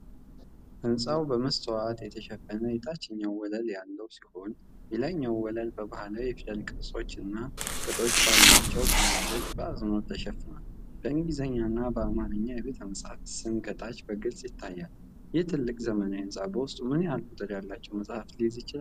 ሕንጻው በመስታወት የተሸፈነ የታችኛው ወለል ያለው ሲሆን፤ የላይኛው ወለል በባህላዊ የፊደል ቅርጾችና ቅጦች ባላቸው ፓነሎች በአጽንዖት ተሸፍኗል። በእንግሊዝኛና በአማርኛ የቤተ-መጻሕፍቱ ስም ከታች በግልጽ ይታያል። ይህ ትልቅ ዘመናዊ ሕንፃ በውስጡ ምን ያህል ቁጥር ያላቸውን መጻሕፍት ሊይዝ ይችላል?